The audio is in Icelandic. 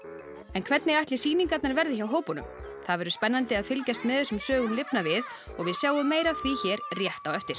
en hvernig ætli sýningarnar verði hjá hópunum það verður spennandi að fylgjast með þessum sögum lifna við og við sjáum meira af því hér rétt á eftir